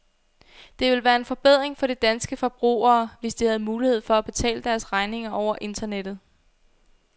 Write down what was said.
Det ville være en forbedring for de danske forbrugere, hvis de havde mulighed for at betale deres regninger over internettet.